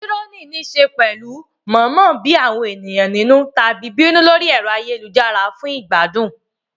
Trolling ní í ṣe pẹ̀lú mọ̀ọ́mọ̀ bí àwọn ènìyàn nínú tàbí bínú lórí ẹ̀rọ ayélujára fún ìgbádùn.